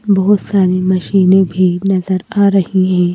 बहुत सारी मशीनें भी नजर आ रही हैं।